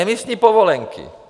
Emisní povolenky.